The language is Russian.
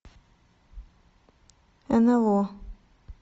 нло